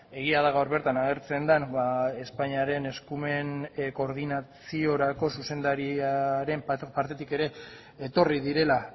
egia da gaur bertan agertzen den espainiaren eskumen koordinaziorako zuzendariaren partetik ere etorri direla